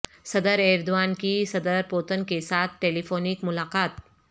صدر ایردوان کی صدر پوتن کیساتھ ٹیلیفونک ملاقات